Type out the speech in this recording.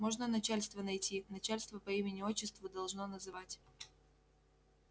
можно начальство найти начальство по имени-отчеству должно называть